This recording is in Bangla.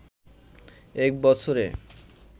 এক বছরে